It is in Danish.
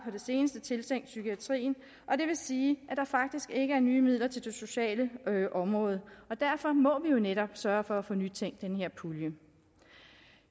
det seneste tiltænkt psykiatrien og det vil sige at der faktisk ikke er nye midler til det sociale område og derfor må vi jo netop sørge for at få nytænkt den her pulje